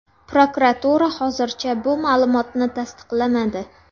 Prokuratura hozircha bu ma’lumotni tasdiqlamadi.